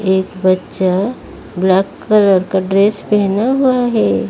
एक बच्चा black colour का ड्रेस पेहना हुआ है।